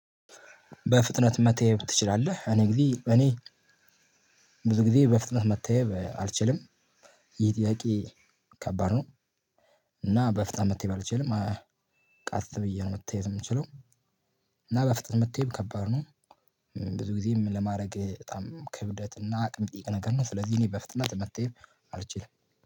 በፍጥነት መተየብ ትችላለህ? እኔ እንግዲ እኔ ብዙ ጊዜ በፍጥነት መተየብ አልችልም። ይሄ ጥያቄ ከባድ ነው። እና በፍጥነት መተየብ አልችልም አያ ቀስ ብዬ ነው መተየብ የምችለው። እና በፍጥነት መተየብ ከባድ ነው። ብዙ ጊዜ ለማድረግ በጣም ክብደት እና አቅም ሚጠይቅ ነገር ነው። ስለዚህ እኔ በፍጥነት መተየብ አልችልም።